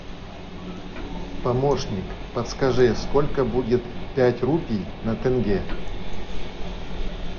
помощник подскажи сколько будет пять рупий на тенге